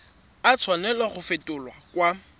a tshwanela go fetolwa kwa